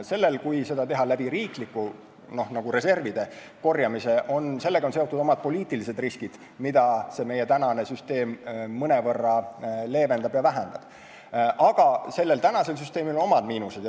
Sellega, kui seda teha riiklike reservide korjamisega, on seotud oma poliitilised riskid, mida meie praegune süsteem mõnevõrra leevendab ja vähendab, aga samas on meie süsteemil on teatud miinused.